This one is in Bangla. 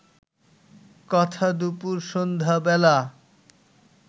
কথা দুপুর সন্ধ্যা বেলা